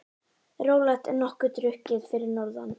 Rólegt en nokkuð drukkið fyrir norðan